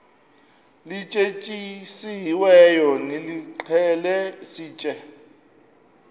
lityetyisiweyo nilixhele sitye